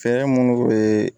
Fɛɛrɛ munnu be